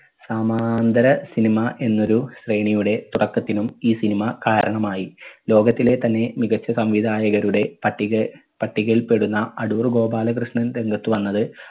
സമാന്തര cinema എന്നൊരു സ്രേണിയുടെ തുടക്കത്തിനും ഈ cinema കാരണമായി. ലോകത്തിലെ തന്നെ മികച്ച സംവിധായകരുടെ പട്ടിക പട്ടികയിൽ പെടുന്ന അടൂർ ഗോപാലകൃഷ്ണൻ രംഗത്ത് വന്നത്